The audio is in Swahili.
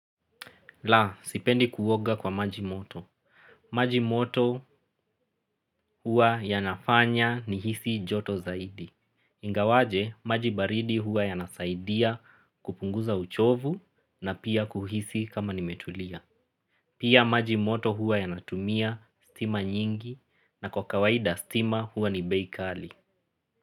La, sipendi kuoga kwa majimoto. Majimoto huwa ya nafanya ni hisi joto zaidi. Ingawaje, maji baridi huwa yanasaidia kupunguza uchovu na pia kuhisi kama nimetulia. Pia majimoto huwa yanatumia stima nyingi na kwa kawaida stima huwa ni beikali.